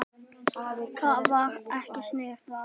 Það var ekki sniðugt val.